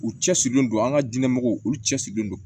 U cɛsirilen don an ka diinɛmɔgɔw olu cɛsirilen don